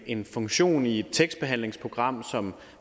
en funktion i et tekstbehandlingsprogram som